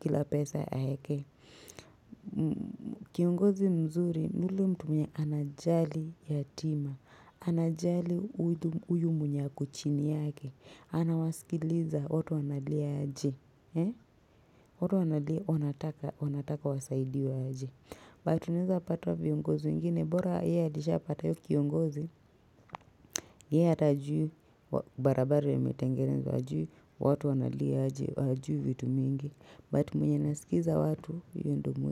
kila pesa aweke. Kiongozi mzuri, ni yule mtu mwenye anajali yatima. Anajali huyu mwenye ako chini yake. Anawasikiliza, watu wanaliaje. Watu wanalia, wanataka wasaidiwe aje. But unaweza patwa viongozi wengine, bora yeye alishapata huo uongozi. Yeye hata hajui barabara imetengenzwa hajui watu wanaliaje hajui vitu mingi. But mwenye anasikiza watu huyo ndiye muhi.